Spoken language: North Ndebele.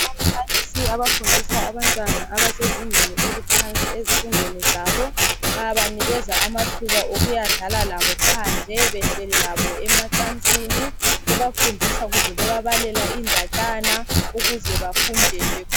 Ababalisi abafundisa abantwana abasezingeni eliphansi ezifundweni zabo bayabanika amathuba okuyadlala labo phandle behleli labo emacansini bebafundisa kumbe bebabalela indatshana ukuze bafunde.